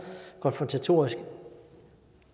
konfrontatorisk